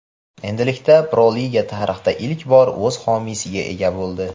Endilikda Pro liga tarixda ilk bor o‘z homiysiga ega bo‘ldi.